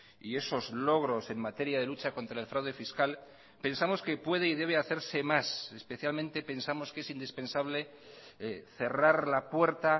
y esos logros en materia de lucha contra el fraude fiscal pensamos que puede y debe hacerse más especialmente pensamos que es indispensable cerrar la puerta